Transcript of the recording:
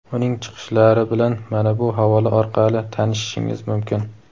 Uning chiqishlari bilan mana bu havola orqali tanishishingiz mumkin.